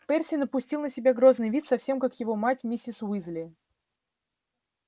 перси напустил на себя грозный вид совсем как его мать миссис уизли